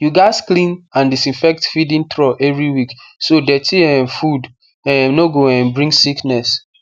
you gats clean and disinfect feeding trough every week so dirty um food um no go um bring sickness